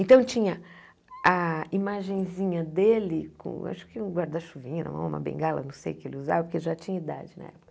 Então, tinha a imagenzinha dele, com acho que um guarda-chuvinha, uma bengala, não sei o que ele usava, porque já tinha idade na época.